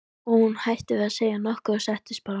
Og hún hætti við að segja nokkuð og settist bara.